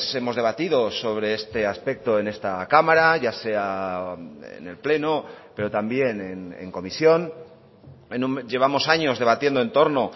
hemos debatido sobre este aspecto en esta cámara ya sea en el pleno pero también en comisión llevamos años debatiendo en torno